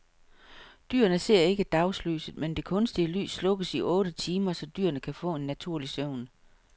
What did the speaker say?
Dyrene ser ikke dagslyset, men det kunstige lys slukkes i otte timer, så dyrene kan få en naturlig søvn.